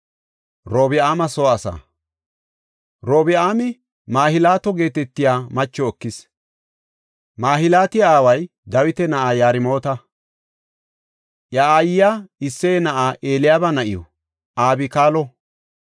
Robi7aami Mahlaato geetetiya macho ekis. Mahilaati aaway Dawita na7aa Yarmoota; I aayiya Isseye na7aa Eliyaaba na7iw Abikaalo.